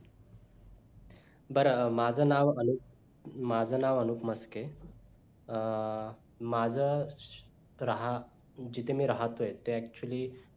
बर माझ नाव अनूप माझं नाव अनुप मस्के अं माझं राह जिथं मी राहतोय ते actually